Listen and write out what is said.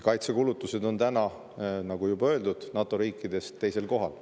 Kaitsekulutused on, nagu juba öeldud, NATO riikidest teisel kohal.